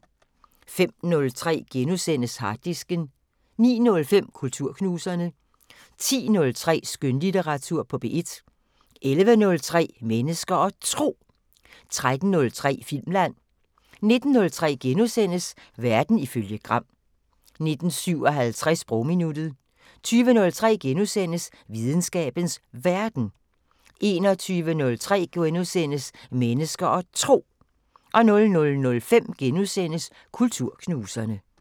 05:03: Harddisken * 09:05: Kulturknuserne 10:03: Skønlitteratur på P1 11:03: Mennesker og Tro 13:03: Filmland 19:03: Verden ifølge Gram * 19:57: Sprogminuttet 20:03: Videnskabens Verden * 21:03: Mennesker og Tro * 00:05: Kulturknuserne *